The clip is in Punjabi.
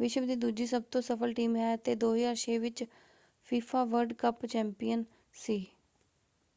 ਵਿਸ਼ਵ ਦੀ ਦੂਜੀ ਸਭ ਤੋਂ ਸਫ਼ਲ ਟੀਮ ਹੈ ਅਤੇ 2006 ਵਿੱਚ ਫੀਫਾ ਵਰਲਡ ਕੱਪ ਚੈਂਪੀਅਨ ਸੀ।